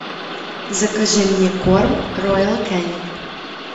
закажи мне корм роял канин